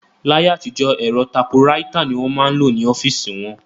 Láyé àtijọ́, ẹ̀rọ tapuraita ni wọ́n máa ń lò ní ọ́fíìsì wọn